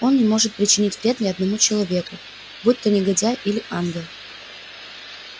он не может причинить вред ни одному человеку будь-то негодяй или ангел